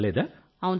ఏం కాలేదా